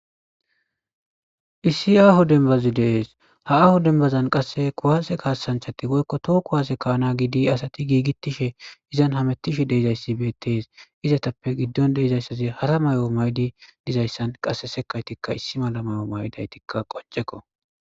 issi aaho denbazi dees ha aaho dembazan qasse kuwaase kaasanchati woykko to kuwaase kaana gidi asati giigitishe izan hamettishe deezayssi beettees izatappe giddon deezayssazi hara mayo maydi dizayssan qasse sekaytikka issi mala mayo maydaytikka qonceko